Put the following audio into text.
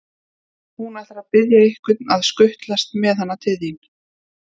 Hún ætlar að biðja einhvern að skutlast með hana til þín.